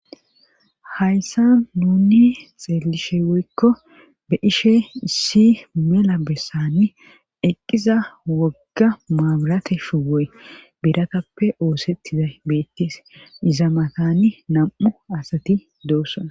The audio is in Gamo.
Hayssa nuni xeelishe woykko be ishe issi mela bessani eqqiza wogga maaburate shuwoy biratappe oosettida beettes izamatani nam'u asati doossan.